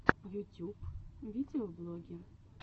ютюб видеоблоги